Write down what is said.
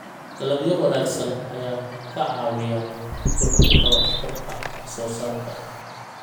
Dalagyo wanaagsan ayaa ka caawiya kordhinta waxtarka wax soo saarka.